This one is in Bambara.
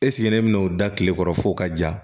ne bɛ n'o da kile kɔrɔ f'o ka ja